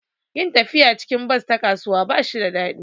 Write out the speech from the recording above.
Yin tafiya cikin bas ta kasuwa ba shi da daɗi